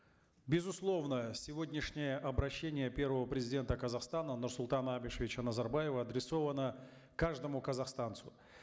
безусловно сегодняшнее обращение первого президента казахстана нурсултана абишевича назарбаева адресовано каждому казахстанцу